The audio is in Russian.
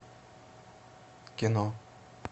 кино